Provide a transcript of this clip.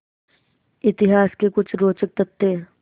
इतिहास के कुछ रोचक तथ्य